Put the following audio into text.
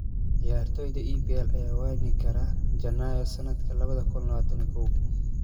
Ciyaartoyda EPL yaa waayi kara Janaayo sanadka labada kun iyo labatan iyo kow